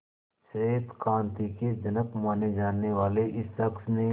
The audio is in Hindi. श्वेत क्रांति के जनक माने जाने वाले इस शख्स ने